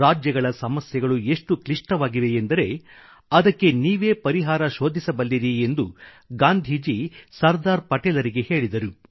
ರಾಜ್ಯಗಳ ಸಮಸ್ಯೆಗಳು ಎಷ್ಟು ಕ್ಲಿಷ್ಟವಾಗಿವೆಯೆಂದರೆ ಅದಕ್ಕೆ ನೀವೇ ಪರಿಹಾರ ಶೋಧಿಸಬಲ್ಲಿರಿ ಎಂದು ಗಾಂಧೀಜಿ ಸರ್ದಾರ್ ಪಟೇಲ್ರಿಗೆ ಹೇಳಿದರು